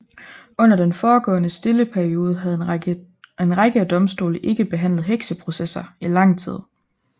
Under den foregående stille periode havde en række af domstole ikke behandlet hekseprocesser i lang tid